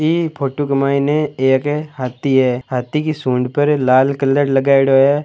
ये एक फोटो के मैंने एक हाथी है हाथी की सूंड पर लाल कलर लगयेड़ो है।